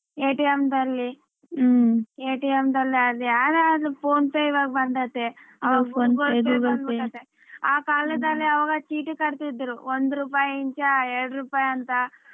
ದಲ್ಲಿ ದಲ್ಲಿ ಅದ್ಯಾರದು PhonePe ಇವಾಗ ಬಂದತೆ ಆ ಕಾಲದಲ್ಲಿ ಆವಾಗ ಚೀಟಿ ಕಟ್ಟಿದ್ರು ಒಂದು ರೂಪಾಯಿಯಿಂದ ಎರಡು ರೂಪಾಯ ಅಂತ